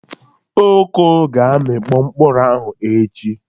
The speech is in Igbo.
Oko ga-amịkpo mkpụrụ ahụ echi.